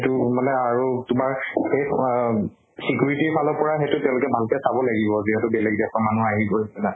এইটো মানে আৰু তোমাৰ শেষ আহ security ৰ ফালৰ পৰা সেইটো তেওঁলোকে ভাল কে চাব লাগিব যিহেতু বেলেগ দেশৰ মানুহ আহিব ৰা